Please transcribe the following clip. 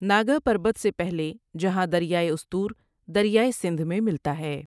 ناگاہ پربت سے پہلے جہاں دریائے استور درہائے سندھ میں ملتا ہے ۔